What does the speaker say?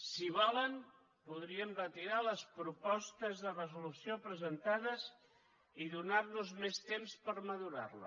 si volen podríem retirar les propostes de resolució presentades i donar nos més temps per madurar les